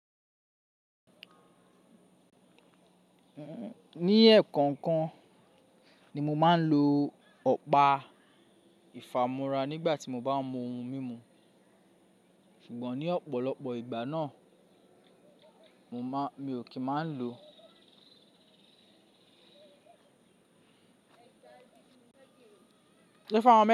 Ní ẹ̀ẹ̀kan kan ni mo máa ń lo ọ̀pá ìfàmúrá nígbà tí mo bá mú ohun mímu, ṣùgbọ́n ní ọ̀pọ̀lọpọ̀ ìgbà náà mi ò kí máa ń lo.